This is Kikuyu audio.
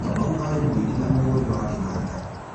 Kamau arĩ mũini na mũhũri wa kĩnanda